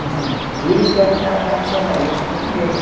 Então, eles pegam o prato, vai para o sofá, e eu fico na mesa.